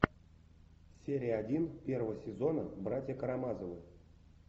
серия один первого сезона братья карамазовы